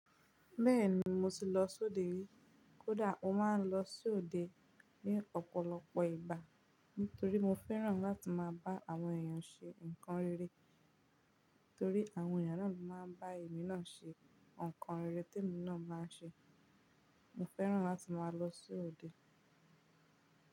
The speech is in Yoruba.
Bẹ́ẹ̀ni mo ti lọ sí òde rii, kódà mo máa ń lọ sí òde ní ọ̀pọ̀lọpọ̀ ìgbà. Nítorí mo fẹ́ràn láti máa bá àwọn èèyàn ṣe nǹkan rere torí àwọn ènìyàn náà ló máa ń bá èmi náà ṣe nǹkan rere tí èmi náà máa ń ṣe. Mo fẹ́ràn láti máa lọ sí òde.